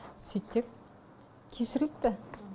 сөйтсек кешіріліпті